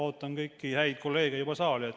Ootan kõiki häid kolleege juba saali.